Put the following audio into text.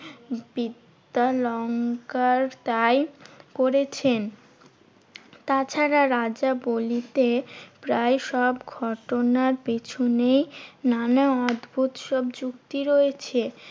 বিদ্যালঙ্কার তাই করেছেন। তাছাড়া রাজাবলিতে প্রায় সব ঘটনার পেছনে নানা অদ্ভুদ সব যুক্তি রয়েছে।